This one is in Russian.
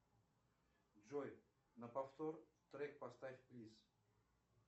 джой на повтор трек поставь плиз